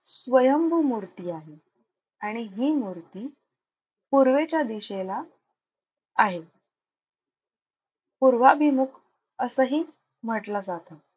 स्वयंभू मूर्ती आहे. आणि हि मूर्ती पूर्वेच्या दिशेला आहे. पूर्वाभिमुख असंही म्हंटलं जातं.